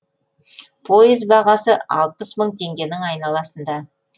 пойыз бағасы алпыс мың теңгенің айналасында